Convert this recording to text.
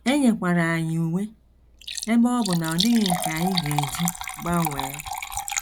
E nyekwara anyị uwe, ebe ọ bụ na ọ dịghị nke anyị ga - eji gbanwee.